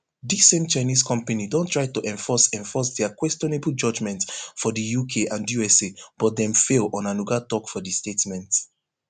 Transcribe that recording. dis same chinese company don try to enforce enforce dia questionable judgment for di uk and usa but dem fail onanuga tok for di statement